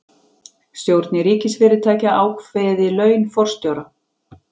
Stjórnir ríkisfyrirtækja ákveði laun forstjóra